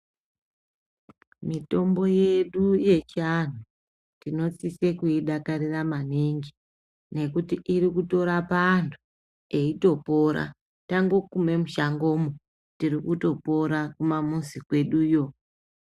Mitombo yedu yechiantu tinosise kuidakarira maningi nekuti irikutorapa antu eitopora tangokume mushangomwo tirikutopora kumamuzi kweduyo.